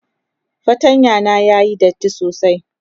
fartanya na yayi datti sosai.